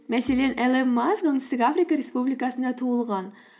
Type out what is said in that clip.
мәселен илон маск оңтүстік африка республикасында туылған